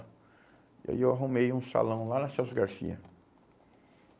E aí eu arrumei um salão lá na Celso Garcia.